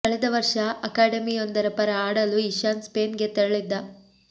ಕಳೆದ ವರ್ಷ ಅಕಾಡೆಮಿಯೊಂದರ ಪರ ಆಡಲು ಇಶಾನ್ ಸ್ಪೇನ್ ಗೆ ತೆರಳಿದ್ದ